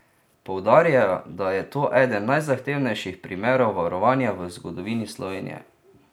Poudarjajo, da je to eden najzahtevnejših primerov varovanja v zgodovini Slovenije.